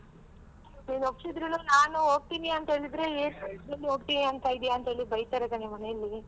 ನೀನ್ ಒಪ್ಸಿದರುನೂ ನಾನ್ ಹೋಗ್ತೀನಿ ಅಂತ ಹೇಳುದರೆ ಏನ್ ಹೋಗ್ತೀನಿ ಅಂತ ಹೇಳ್ತಿದೀಯ ಅಂತ ಬೈತರೆ ಕಣೆ ಮನೇಲಿ.